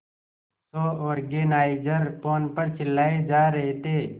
show organiser phone पर चिल्लाए जा रहे थे